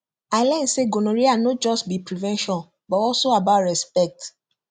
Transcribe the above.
i learn say gonorrhea no just be prevention but also about respect